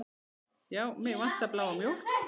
Já, mig vantar bláa mjólk.